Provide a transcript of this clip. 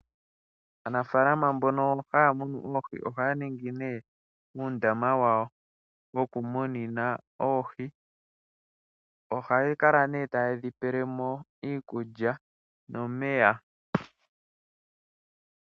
Aanafaalama mbono ha yamunu oohi, oha ya ningi uundama wawo woku muninamo oohi, ohaya kala nduno ta ye dhipelemo iikulya, nomeya.